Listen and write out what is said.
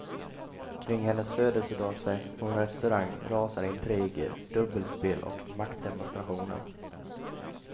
Kring hennes födelsedagsfest på en restaurang rasar intriger, dubbelspel och maktdemonstrationer.